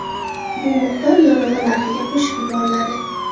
Bu miqdor yonilg‘i narxiga qo‘shib yuboriladi.